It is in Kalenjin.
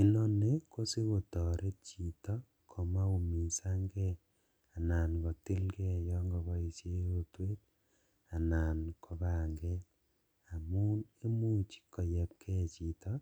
Inoni kosikotoret chito komaumisangee anan kotilkee yon koboishen rotwet anan kopanget amun koyeb kee chito